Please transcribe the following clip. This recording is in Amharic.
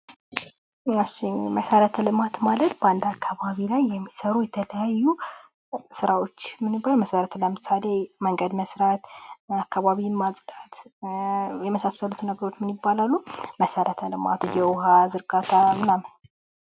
መሠረተ ልማት ማለት በአንድ አካባቢ ላይ የሚሰሩ የተለያዩ ሥራዎች መሠረት ልማት ይባላሉ። ለምሳሌ መንገድ መሥራት አካባቢን ማጽዳት የመሳሰሉትን መሰረተ ልማት ውሃ ዝርጋታ ማናምን።